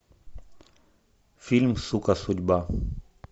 фильм сука судьба